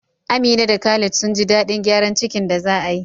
Amina da Khalid sun ji daɗin gyaran kicin da za a yi.